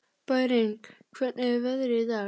Bæring, hvernig er veðrið í dag?